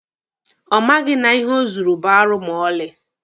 Ọ maghị na ihe o zuru bụ arụ ma ọlị.